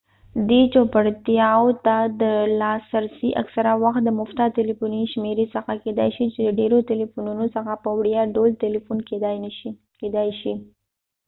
دې چوپړتیاوو ته د لاسرسی اکثره وخت د مفته تلیفوني شمیرې څخه کیدای شي چې د ډیرو تلیفونونو څخه په وړیا ډول تلیفون کیدای شي